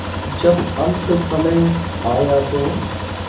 जब अन्तसमय आया तो